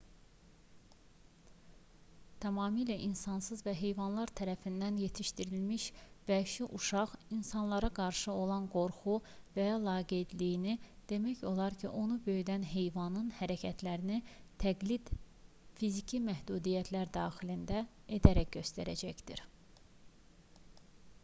tamamilə insansız və heyvanlar tərəfindən yetişdirilən vəhşi uşaq insanlara qarşı olan qorxu və ya laqeydliyini demək olar ki onu böyüdən heyvanın hərəkətlərini təqlid fiziki məhdudiyyətlər daxilində edərək göstərəcəkdir